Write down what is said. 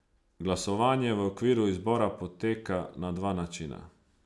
Glasovanje v okviru izbora poteka na dva načina.